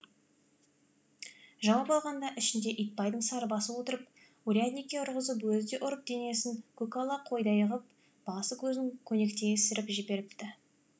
жауап алғанда ішінде итбайдың сарыбасы отырып урядникке ұрғызып өзі де ұрып денесін көкала қойдай ғып басы көзін көнектей ісіріп жіберіпті